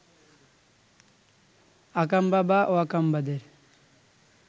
আকাম্বা বা ওয়াকাম্বাদের